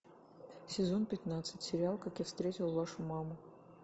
сезон пятнадцать сериал как я встретил вашу маму